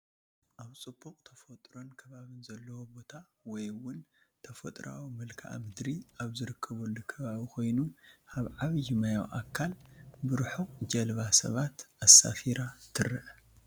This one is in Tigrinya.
ኣብ ፅቡቕ ተፈጥሮን ከባብን ዘለዎ ቦታ ወይ እውን ተፈጥራኣዊ መልክኣ ምድሪ ኣብ ዝርከበሉ ኣከባቢ ኾይኑ ኣብ ዓብይ ማያዊ ኣካል ብሩሑቅ ጀልባ ሰባት ኣሳፊራ ትረአ፡፡